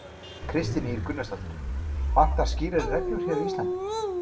Kristín Ýr Gunnarsdóttir: Vantar skýrari reglur hér á Íslandi?